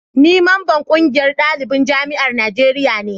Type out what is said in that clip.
ni mamban ƙungiyar dalibin jami'an najeriya ne